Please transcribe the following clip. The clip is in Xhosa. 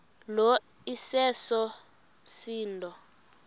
lo iseso msindo